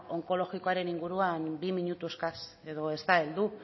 onkologikoaren inguruan bi minutu eskaz edo ez da heldu